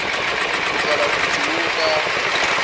go tlogela motse wo ka